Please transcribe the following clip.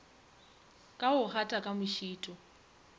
ka go gata ka mošito